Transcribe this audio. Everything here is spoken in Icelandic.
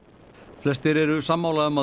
flestir eru sammála um að